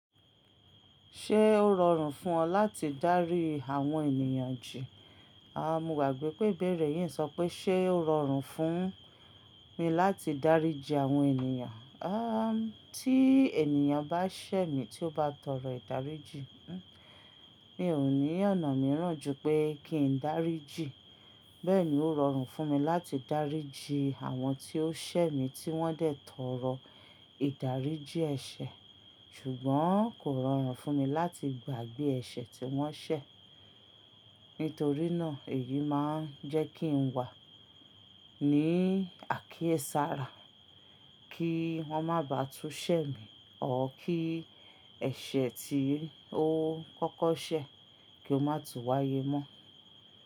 Ṣé ó rọrùn fún ọ láti dárí àwọn ènìyàn jí? Àwọn mo gbàgbé pé ìbéèrè yìí ń sọ pé ṣé ó rọrùn fún mi láti dáríji àwọn ènìyàn? Tí ènìyàn bá ṣẹ̀ mí tí ó bá tọrọ ìdáríjì, n, mi ò ní ọ̀nà mìíràn ju pé kí n dáríjì. Bẹ́ẹ̀ ni ó rọrùn fún mi láti dáríjì àwọn tí ó ṣẹ̀ mí tí wọ́n dẹ̀ tọrọ ìdáríjì ẹ̀ṣẹ̀. Ṣùgbọ́n kò rọrùn fún mi láti gbàgbé ẹ̀ṣẹ̀ tí wọ́n ṣẹ̀. Nítorí náà, èyí máa ń jẹ́ kí n wà ní àkíyèsára kí wọ́n má bá tún ṣẹ̀ mí, or kí ẹ̀ṣẹ̀ tí ó kọ́kọ́ ṣẹ̀ kí ó má tú wáyé mọ́.